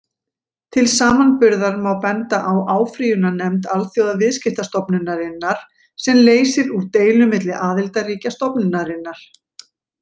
Til samanburðar má benda á áfrýjunarnefnd Alþjóðaviðskiptastofnunarinnar, sem leysir úr deilum milli aðildarríkja stofnunarinnar.